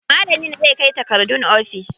Malamin zai kai takardun ofis.